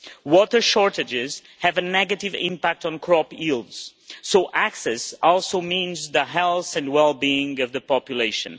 Water shortages have a negative impact on crop yields, so access also means the health and well being of the population.